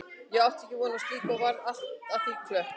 Ég átti ekki von á slíku og varð allt að því klökk.